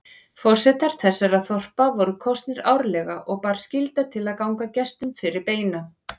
Forsetar þessara þorpa voru kosnir árlega og bar skylda til að ganga gestum fyrir beina.